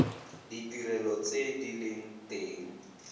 ditirelo tse di leng teng